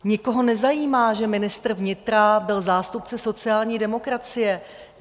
Nikoho nezajímá, že ministr vnitra byl zástupce sociální demokracie.